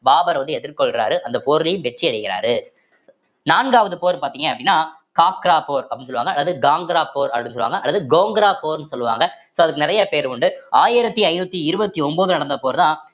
பாபர் வந்து எதிர்கொள்றாரு அந்த போரிலேயும் வெற்றி அடைகிறாரு நான்காவது போர் பாத்தீங்க அப்படின்னா காக்ரா போர் அப்படின்னு சொல்லுவாங்க அல்லது போர் அப்படின்னு சொல்லுவாங்க அல்லது கோங்கரா போர்ன்னு சொல்லுவாங்க so அதுக்கு நிறைய பேர் உண்டு ஆயிரத்தி ஐந்நூத்தி இருபத்தி ஒன்பதுலே நடந்த போர்தான்